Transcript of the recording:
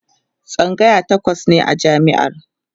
tsangaya takwas ne a jami'ar